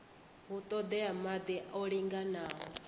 hu ṱoḓea maḓi o linganaho